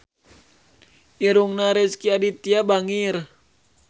Irungna Rezky Aditya bangir